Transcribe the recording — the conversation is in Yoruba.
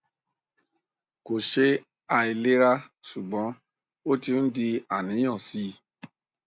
kò ṣe àìlera ṣùgbọn ó ti ń di àníyàn sí i